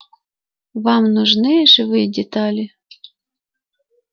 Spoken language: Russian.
вам нужны живые детали